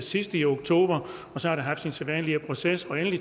sidst i oktober så har det haft sin sædvanlige proces